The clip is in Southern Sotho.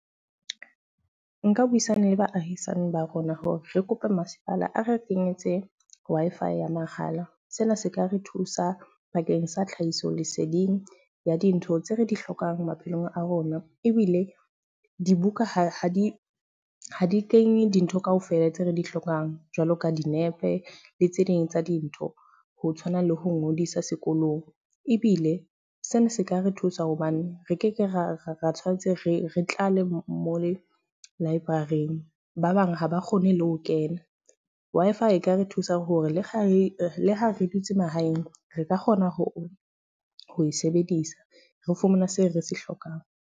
Nka buisana le baahisane ba rona hore re kope masepala a re kenyetse Wi-Fi ya mahala. Sena se ka re thusa bakeng sa tlhahiso leseding ya dintho tse re di hlokang maphelong a rona. Ebile dibuka ha di ha di kenye dintho ka ofela tse re di hlokang, jwalo ka dinepe le tse ding tsa dintho. Ho tshwana le ho ngodisa sekolong. Ebile sena se ka re thusa hobane re ke ke ra re tshwanetse re re tlale mo le library-ng, ba bang ha ba kgone le ho kena. Wi-Fi e ka re thusa hore le kgale, le ha re dutse mahaeng re ka kgona ho ho e sebedisa re fumana seo re se hlokang.